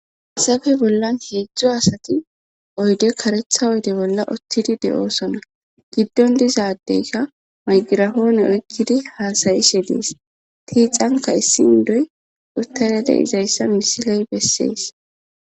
Issafe bollan heedzdzo asati oyde karetha oyde bolla ottidi de7oosona giddon dizadeyka maygirafoone oykkidi haasayi shenees tiixanka issi indoy utayade izayssa misiley bessees.